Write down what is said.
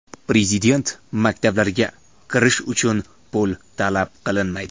Prezident maktablariga kirish uchun pul talab qilinmaydi.